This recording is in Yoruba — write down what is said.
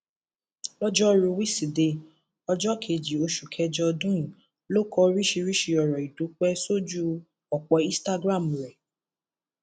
lọjọrùú wísidee ọjọ kejì oṣù kẹjọ ọdún yìí ló kọ oríṣiríṣii ọrọ ìdúpẹ sójú ọpọ instagram rẹ